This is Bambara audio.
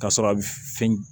K'a sɔrɔ a bɛ fɛn